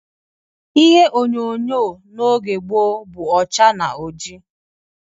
Ihe onyonyo n'oge gboo, bụ ọcha na ọjị